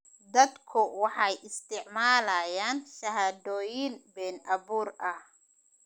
Dadku waxay isticmaalayaan shahaadooyin been abuur ah.